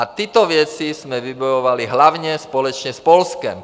A tyto věci jsme vybojovali hlavně společně s Polskem.